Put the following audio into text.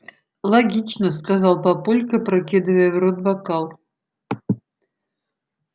логично сказал папулька опрокидывая в рот бокал